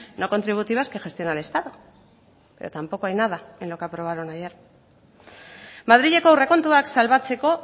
no contributivas que gestiona el estado pero tampoco hay nada en lo que aprobaron ayer madrileko aurrekontuak salbatzeko